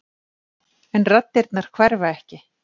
En raddirnar hverfa ekki.